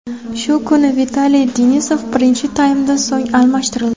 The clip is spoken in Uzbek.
Shu kuni Vitaliy Denisov birinchi taymdan so‘ng almashtirildi.